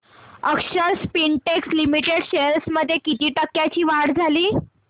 अक्षर Spintex Limited shares मध्ये किती टक्क्यांची वाढ झाली